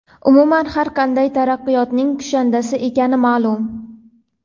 umuman har qanday taraqqiyotning kushandasi ekani ma’lum.